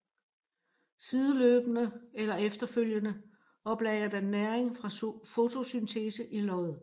Sideløbende eller efterfølgende oplagrer den næring fra fotosyntese i løget